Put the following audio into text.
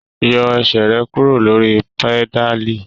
Yọ ẹsẹ rẹ kuro lori pedali!